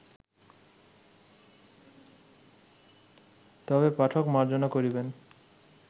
তবে পাঠক মার্জনা করিবেন